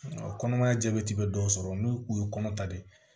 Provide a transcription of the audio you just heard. Kɔnɔmaya jabɛti bɛ dɔw sɔrɔ n'u u ye kɔnɔ ta de